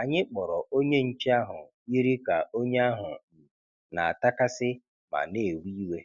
anyị kpọrọ onye nche ahụ yiri ka onye ahụ um n'atakasị ma n'ewe iwe.